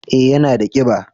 eh ya na da kiba